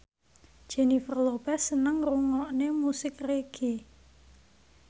Jennifer Lopez seneng ngrungokne musik reggae